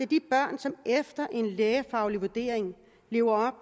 de børn som efter en lægefaglig vurdering lever